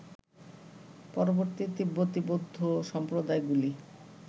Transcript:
পরবর্তী তিব্বতী বৌদ্ধ সম্প্রদায়গুলি